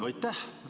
Aitäh!